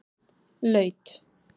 Laut